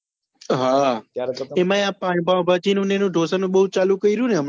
એમાય આ પાણી પાવભાજી નું ને ઢોસા નું બઉ ચાલુ કર્યું ને હમણાં જ